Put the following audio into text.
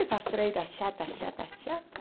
Essas freira chata, chata, chata.